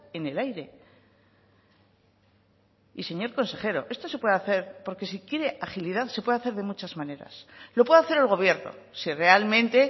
en el aire y señor consejero esto se puede hacer porque si quiere agilidad se puede hacer de muchas maneras lo puede hacer el gobierno si realmente